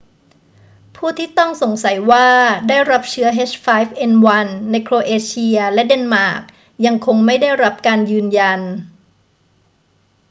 ผู้ที่ต้องสงสัยว่าได้รับเชื้อ h5n1 ในโครเอเชียและเดนมาร์กยังคงไม่ได้รับการยืนยัน